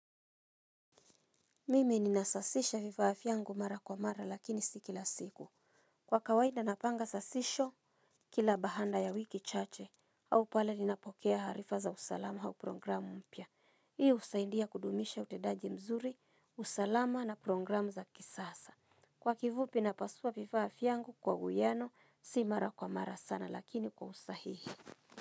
Mimi ninasasisha vifaa vyangu mara kwa mara lakini si kila siku. Kwa kawaida napanga sasisho kila baada ya wiki chache. Au pale ninapokea arifa za usalama au programu mpya. Hii husaidia kudumisha utendaji mzuri, usalama na programu za kisasa. Kwa kifupi napasua vifaa vyangu kwa uwiano si mara kwa mara sana lakini kwa usahihi.